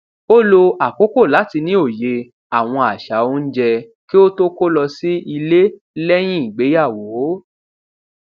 ó lo àkókò láti ní òye àwọn àṣà oúnjẹ kí ó tó kó lọ sí ilé léyìn ìgbéyàwó